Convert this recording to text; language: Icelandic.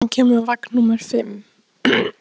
Þorbergur, hvenær kemur vagn númer fimm?